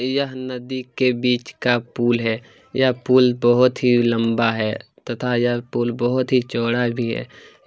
यह नदी के बीच का पुल है यह पुल बहुत ही लंबा है तथा यह पुल बहुत ही चोंड़ा भी है।